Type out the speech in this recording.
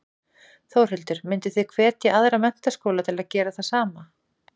Þórhildur: Mynduð þið hvetja aðra menntaskóla til að gera það sama?